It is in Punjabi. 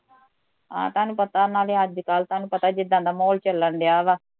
ਹਾਂ ਤੁਹਾਨੂੰ ਪਤਾ ਨਾਲੇ ਅੱਜ ਕੱਲ ਤੁਹਾਨੂੰ ਪਤਾ ਐ ਜਿਦਾ ਦਾ ਮਹੋਲ ਚੱਲਣ ਡਿਆ ਵਾਂ